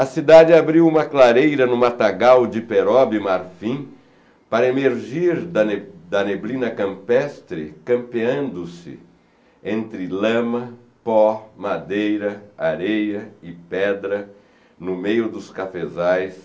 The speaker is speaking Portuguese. A cidade abriu uma clareira no matagal de perobe marfim para emergir da da neblina campestre campeando-se entre lama, pó, madeira, areia e pedra no meio dos cafezais